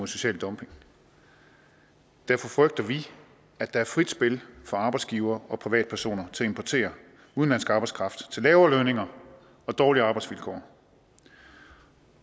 social dumping derfor frygter vi at der er frit spil for arbejdsgivere og privatpersoner til at importere udenlandsk arbejdskraft til lavere lønninger og dårligere arbejdsvilkår